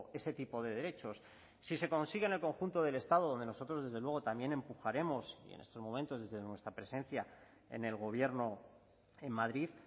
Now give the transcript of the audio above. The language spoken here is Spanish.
ese tipo de derechos si se consigue en el conjunto del estado donde nosotros desde luego también empujaremos y en estos momentos desde nuestra presencia en el gobierno en madrid